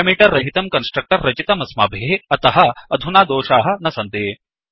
parameter रहितं constructor रचितमस्माभिः अतः अधुना दोषाः न सन्ति